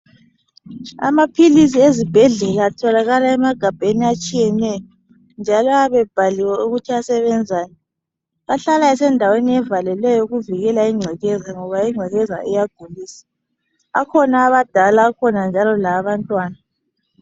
Amaphilisi ezibhedlela atholakala emagabheni atshiyeneyo njalo ayabe ebhaliwe ukuthi asebenzani ahlala esendaweni evalileyo ukuvikela ingcekeza ngoba ingcekeza iyagulisa akhona awabadala akhona njalo lawabantwana.